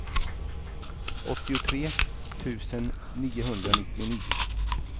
åttiotre tusen niohundranittionio